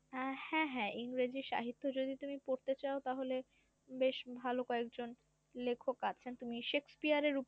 আহ হ্যা হ্যা ইংরেজি সাহিত্য যদি তুমি পড়তে চাও তাহলে বেশ ভালো কয়েকজন লেখক আছেন তুমি শেক্সপিয়ার এর